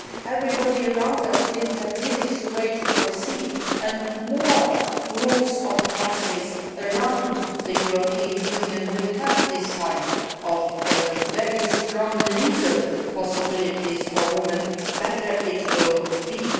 Everybody around us thinks that this is the way to proceed the more groups of countries around the European Union that have these kinds of very strong legal possibilities for women, the better it will be.